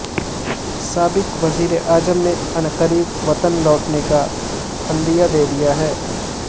سابق وزیر اعظم نے عنقریب وطن لوٹنے کا عندیہ دے دیا